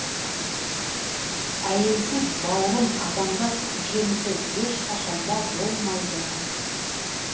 әйелсіз бауырым адамзат жемісі ешқашан да болмайды